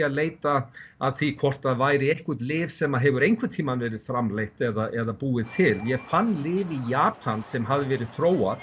að leita að því hvort að væri einhvert lyf sem að hefur einhvern tímann verður framleitt eða búið til ég fann lyf í Japan sem hafði verið þróað